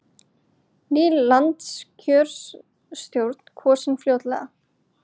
Ný landskjörstjórn kosin fljótlega